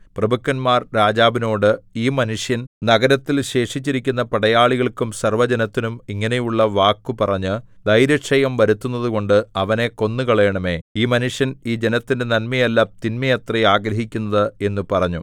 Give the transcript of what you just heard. പ്രഭുക്കന്മാർ രാജാവിനോട് ഈ മനുഷ്യൻ നഗരത്തിൽ ശേഷിച്ചിരിക്കുന്ന പടയാളികൾക്കും സർവ്വജനത്തിനും ഇങ്ങനെയുള്ള വാക്കു പറഞ്ഞ് ധൈര്യക്ഷയം വരുത്തുന്നതുകൊണ്ട് അവനെ കൊന്നുകളയണമേ ഈ മനുഷ്യൻ ഈ ജനത്തിന്റെ നന്മയല്ല തിന്മയത്രേ ആഗ്രഹിക്കുന്നത് എന്ന് പറഞ്ഞു